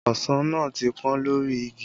Ọsàn náà ti pọ́n lórí igi